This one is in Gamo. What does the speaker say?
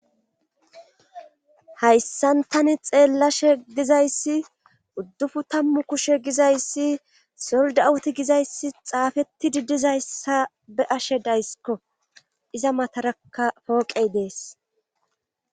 hayssan tani xeellashe dizayssi uddupu tammu kushe gizayssi soldawuti gizayssi xaafetti diddizayssa be'ashe dayssikko iza matarakka pooqey dees